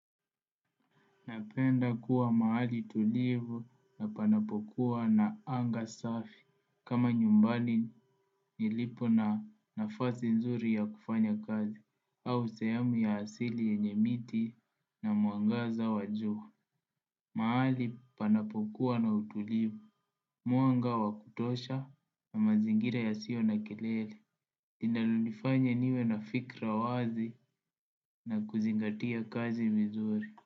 Napenda kuwa mahali tulivu na panapokuwa na anga safi, kama nyumbani nilipo na nafasi nzuri ya kufanya kazi, au sehemu ya asili yenye miti na mwangaza wa juu. Mahali panapokuwa na utulivu, mwanga wa kutosha na mazingira ya siyo na kelele, linalonifanya niwe na fikra wazi. Na kuzingatia kazi vizuri.